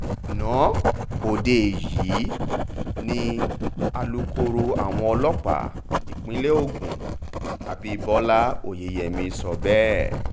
ana ọdẹ yìí ni alukoro àwọn ọlọ́pàá ìpínlẹ̀ ogun abibọlá oyeyèmí sọ bẹ́ẹ̀